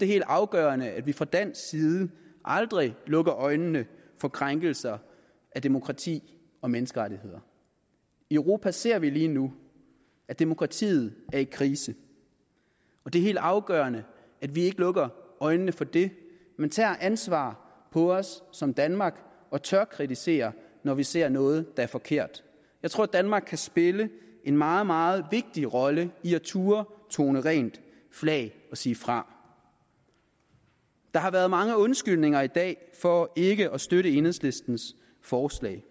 helt afgørende at vi fra dansk side aldrig lukker øjnene for krænkelser af demokrati og menneskerettigheder i europa ser vi lige nu at demokratiet er i krise og det er helt afgørende at vi ikke lukker øjnene for det men tager ansvaret på os som danmark og tør kritisere når vi ser noget der er forkert jeg tror danmark kan spille en meget meget vigtig rolle i at turde tone rent flag og sige fra der har været mange undskyldninger i dag for ikke at støtte enhedslistens forslag